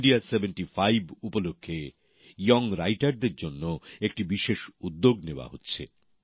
India ৭৫ উপলক্ষে তরুণ লেখকদের জন্য একটি বিশেষ উদ্যোগ নেওয়া হচ্ছে